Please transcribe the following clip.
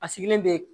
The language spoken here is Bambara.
A sigilen bɛ